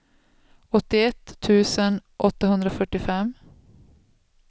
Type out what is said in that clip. åttioett tusen åttahundrafyrtiofem